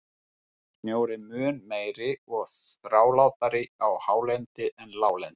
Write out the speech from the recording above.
Snjór er mun meiri og þrálátari á hálendi en láglendi.